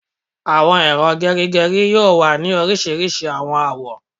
Awọn ero gerigeri yoo wa ni orisirisi awọn awọ